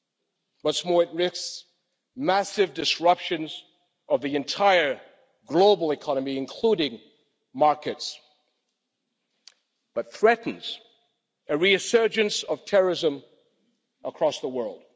What's more, it risks massive disruptions of the entire global economy, including energy markets, but threatens a resurgence of terrorism across the world.